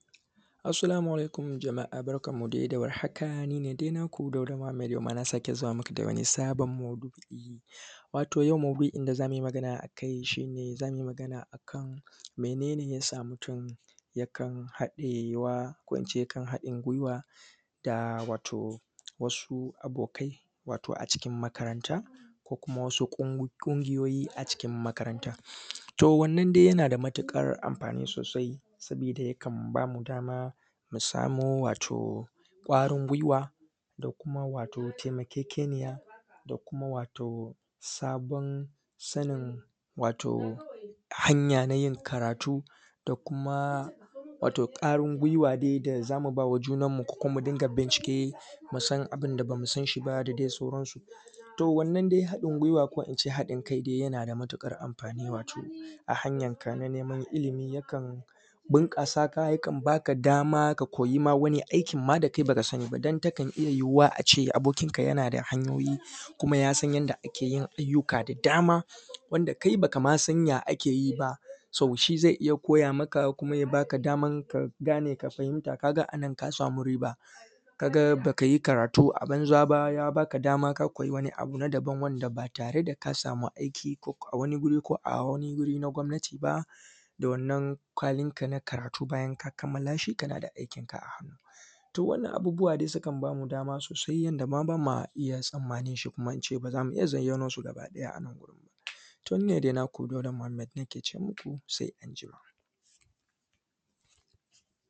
Assolamu alaikum jama’a barkanmu de da warhaka, ni ne dai naku Dauda muhammed, yau ma na sake zuwa muku da wani sabon maudu’i. Wato, yau maudu’in da za mui magana a kai shi ne, za mu yi magana a kan mene ne ya sa mutun yakan haɗewa da ko in ce yakan haɗin gwiwa da wato, wasu abokai, wato a cikin makaranta ko kuma wasu ƙung; ƙungiyoyi a cikin makaranta. To, wannan dai yana da matiƙar amfani sosai, sabida yakan ba mu dama mu samo wato, ƙwarin gwiwa, da kuma wato temakekeniya da kuma wato sabon sanin wato hanya na yin karatu da kuma wato ƙarin gwiwa de da za mu ba wa junanmu ko kuma mu dinga bincike, mu san abin da ba mu san shi ba da de sauran su. To. Wannan de haɗin gwiwa ko in ce haɗin kai de yana da matiƙar amfani wato, a hanyanka na neman ilimi yakan binƙasa ka koyi ma wani aikin ma da kai ba ka sani ba, dan takan iya yiwuwa a ce abokinka yana da hanyoyi kuma ya san yadda ake yin ayyuka da dama wanda kai ba ka ma san ya ake yi ba. ‘So’, shi ze iya koya maka kuma ya baka daman ka gane ka fahinta, ka ga a nan ka samu riba, ka ga ba ka yi karatu a banza ba, ya baka dam aka koyi wani abu na daban wanda ba tare da ka samu aiki koko a wani guri ko a wani guri na gwamnati ba, da wannan kwalinka na karatu bayan ka kamala shi kana da aikinka a hannu. To wannan abubuwa de sukan ba mu dama sosai yanda ma ba ma iya tsammanin shi ko kuma in ce ba za mu iya zayyano su gabaɗaya a nan gurin ba. To, ni ne de naku Dauda Muhammed nake ce muku, se anjima.